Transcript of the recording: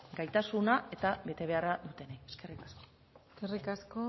gaitasuna eta betebeharra dutenei eskerrik asko eskerrik asko